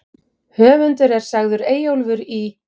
Höfundur er sagður Eyjólfur í